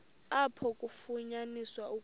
apho kwafunyaniswa ukuba